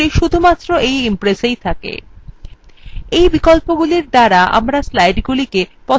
এই বিকল্পগুলির দ্বারা আমরা আমাদের slidesগুলি পছন্দমত বিন্যাসে ছাপতে পারি